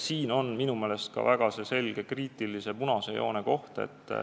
Siin on minu meelest väga selgelt kriitiline punase joone koht.